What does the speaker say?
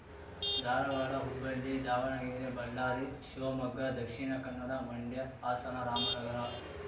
Dharwad Hubballi Davanagere Ballari Shivamogga Dakshina Kannada Mandya Hassan Ramanagara